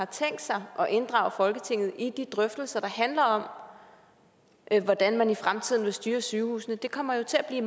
tænkt sig at inddrage folketinget i de drøftelser der handler om hvordan man i fremtiden vil styre sygehusene det kommer jo til at blive